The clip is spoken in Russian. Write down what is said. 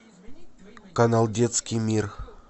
канал детский мир